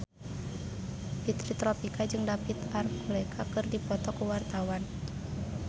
Fitri Tropika jeung David Archuletta keur dipoto ku wartawan